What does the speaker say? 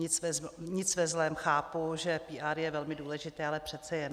Nic ve zlém, chápu, že PR je velmi důležité, ale přece jen.